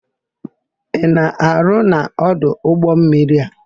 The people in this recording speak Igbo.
Ị na-arụ n'ọdụ ụgbọmmiri a?